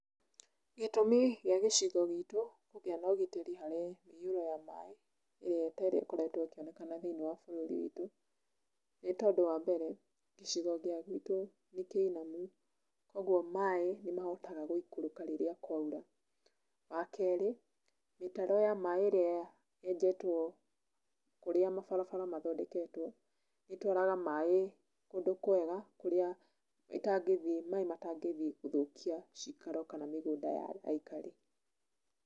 Gĩtũmi gĩa gĩcigo gitũ kũgĩa na ũgitĩri harĩ mĩihũro ya maaĩ, ĩrĩa ĩkoretwo ĩkĩonekana thĩinĩ wa bũrũri witũ, nĩ tondũ wa mbere, gĩcigo gĩa gwitũ nĩ kĩinamu, ũguo maaĩ nĩ mahotaga gũikũrũka rĩrĩa kwaura. Wa kerĩ, mĩtaro ya maaĩ ĩrĩ yenjetwo kũrĩa mabarabara mathondeketwo, ĩtwaraga maaĩ kũndũ kwega kũrĩa maaĩ matangĩthiĩ gũthũkia cikaro kana mĩgũnda ya aikari.